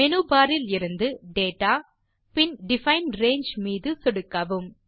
menu bar இலிருந்து data பின் define range மீது சொடுக்கவும்